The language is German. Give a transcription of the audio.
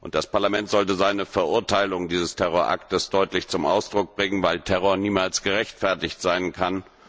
Das Parlament sollte seine Verurteilung dieses Terroraktes deutlich zum Ausdruck bringen, weil Terror niemals gerechtfertigt sein kann.